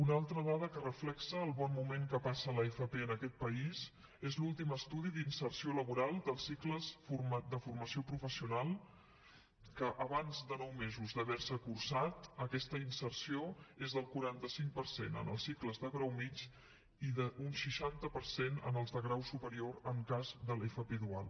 una altra dada que reflecteix el bon moment que passa l’fp en aquest país és l’últim estudi d’inserció laboral dels cicles de formació professional que abans de nou mesos d’haver se cursat aquesta inserció és del quaranta cinc per cent en els cicles de grau mitjà i d’un seixanta per cent en els de grau superior en cas de l’fp dual